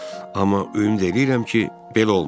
Amma ümid eləyirəm ki, belə olmayıb.